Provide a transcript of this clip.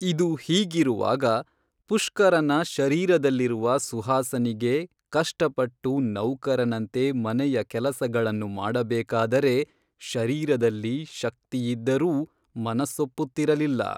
ಇದು ಹೀಗಿರುವಾಗ ಪುಷ್ಕರನ ಶರೀರದಲ್ಲಿರುವ ಸುಹಾಸನಿಗೆ ಕಷ್ಟಪಟ್ಟು ನೌಕರನಂತೆ ಮನೆಯ ಕೇಲಸಗಳನ್ನು ಮಾಡ ಬೇಕಾದರೆ ಶರೀರದಲ್ಲಿ ಶಕ್ತಿಯಿದ್ದರೂ ಮನಸ್ಸೊಪ್ಪುತ್ತಿರಲಿಲ್ಲ